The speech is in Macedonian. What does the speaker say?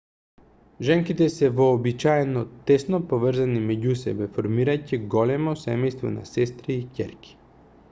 женките се вообичаено тесно поврзани меѓу себе формирајќи големо семејство на сестри и ќерки